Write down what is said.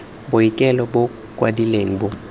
boikuelo bo bo kwadilweng bo